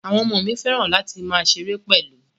Àwọn ọmọ fẹ́ràn láti máa ṣeré pẹ̀lú